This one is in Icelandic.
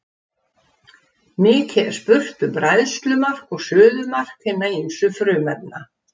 Mikið er spurt um bræðslumark og suðumark hinna ýmsu frumefna.